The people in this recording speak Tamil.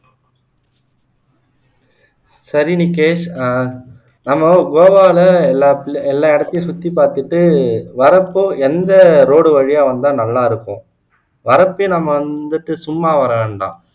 சரி நிக்கேஷ் ஆஹ் நம்ம கோவாவுல எல்லா இடத்தையும் சுத்தி பாத்துட்டு வர்றப்போ எந்த road வழியா வந்தா நல்லா இருக்கும் வரக்குள்ளேயே நம்ம வந்து சும்மா வர வேண்டாம்